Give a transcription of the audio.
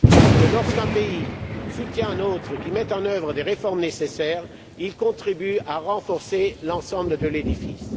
Parce que lorsqu'un pays soutient un autre pays qui met en œuvre des réformes nécessaires, il contribue à renforcer l'ensemble de l'édifice.